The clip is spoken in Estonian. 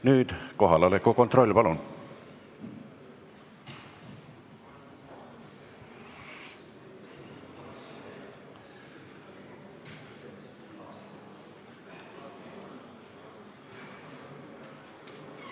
Nüüd kohaloleku kontroll, palun!